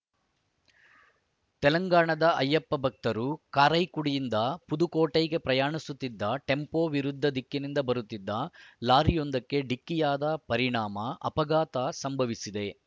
ತೆಲಂಗಾಣದ ಅಯ್ಯಪ್ಪ ಭಕ್ತರು ಕಾರೈಕುಡಿಯಿಂದ ಪುದುಕೊಟ್ಟೈಗೆ ಪ್ರಯಾಣಿಸುತ್ತಿದ್ದ ಟೆಂಪೋ ವಿರುದ್ಧ ದಿಕ್ಕಿನಿಂದ ಬರುತ್ತಿದ್ದ ಲಾರಿಯೊಂದಕ್ಕೆ ಡಿಕ್ಕಿಯಾದ ಪರಿಣಾಮ ಅಪಘಾತ ಸಂಭವಿಸಿದೆ